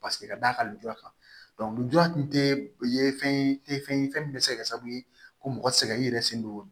Paseke ka d'a ka lujura kan lujura kun te i ye fɛn te fɛn ye fɛn min be se ka kɛ sababu ye ko mɔgɔ sɛgɛn i yɛrɛ sen don